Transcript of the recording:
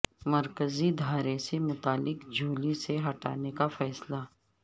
مرکزی دھارے سے متعلق جھولی سے ہٹانے کا فیصلہ